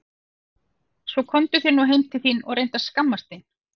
Svona komdu þér nú heim þín og reyndu að skammast þín!